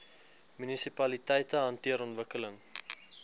munisipaliteite hanteer ontwikkeling